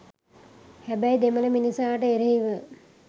හැබැයි දෙමළ මිනිසාට එරෙහිව